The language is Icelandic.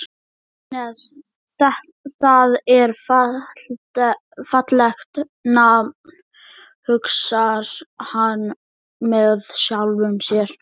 Agnes, það er fallegt nafn, hugsar hann með sjálfum sér.